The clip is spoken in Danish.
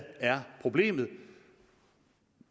er problemet